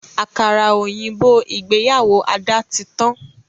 Àkàrà òyìnbó ìgbéyàwó Ada tí tán